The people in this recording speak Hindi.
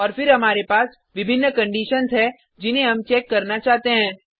और फिर हमारे पास विभिन्न कंडिशन्स है जिन्हें हम चेक करना चाहते हैं